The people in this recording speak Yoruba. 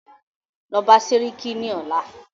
Lọ bá sẹ́ríkí ní ọ̀la!